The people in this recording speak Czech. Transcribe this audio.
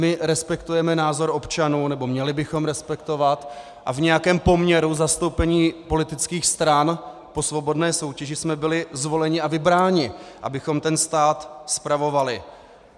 My respektujeme názor občanů, nebo měli bychom respektovat, a v nějakém poměru zastoupení politických stran po svobodné soutěži jsme byli zvoleni a vybráni, abychom ten stát spravovali.